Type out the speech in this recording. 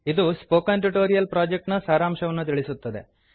ಇದು spoken tutorial project ನ ಸಾರಾಂಶವನ್ನು ತಿಳಿಸುತ್ತದೆ